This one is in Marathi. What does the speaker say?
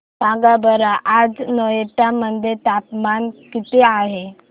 सांगा बरं आज नोएडा मध्ये तापमान किती आहे